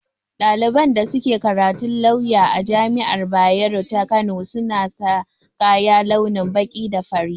Ɗaliban da suke karatun lawya a jami'ar bayero ta kano, suna sa kaya launin baƙi da fari